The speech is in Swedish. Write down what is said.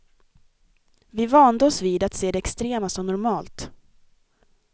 Vi vande oss vid att se det extrema som normalt.